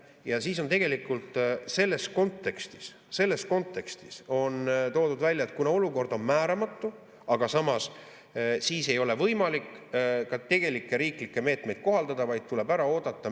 Ja siis on tegelikult selles kontekstis toodud välja, et kuna olukord on määramatu, siis ei ole võimalik ka tegelikke riiklikke meetmeid kohaldada, vaid tuleb ära oodata.